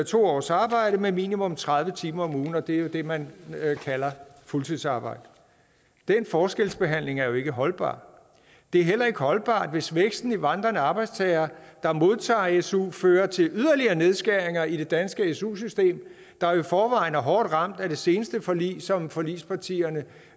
to års arbejde med minimum tredive timer om ugen og det er jo det man kalder fuldtidsarbejde den forskelsbehandling er jo ikke holdbar det er heller ikke holdbart hvis væksten i vandrende arbejdstagere der modtager su fører til yderligere nedskæringer i det danske su system der i forvejen er hårdt ramt af det seneste forlig som forligspartierne